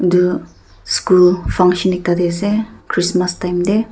edu school function ekta tae ase christmas time tae.